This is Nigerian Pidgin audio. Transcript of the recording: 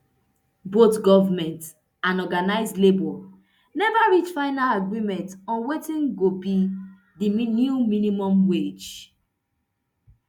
both goment and organised labour neva reach final agreement on wetin go be di new minimum wage